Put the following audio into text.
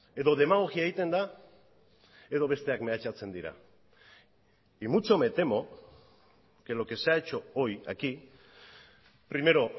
edo demagogia egiten da edo besteak mehatxatzen dira y mucho me temo que lo que se ha hecho hoy aquí primero